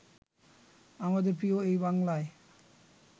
আমাদের প্রিয় এই বাংলায়